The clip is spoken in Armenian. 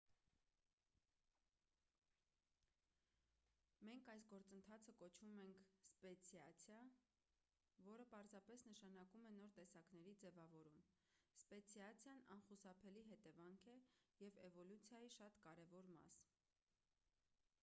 մենք այս գործընթացը կոչում ենք սպեցիացիա որը պարզապես նշանակում է նոր տեսակների ձևավորում սպեցիացիան անխուսափելի հետևանք է և էվոլյուցիայի շատ կարևոր մաս